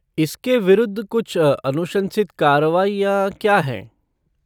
इसके विरुद्ध कुछ अनुशंसित कार्रवाइयाँ क्या हैं?